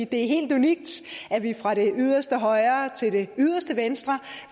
det er helt unikt at vi fra det yderste højre til det yderste venstre